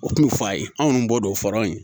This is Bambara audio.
O kun bɛ f'a ye anw b'o don fɔraw ye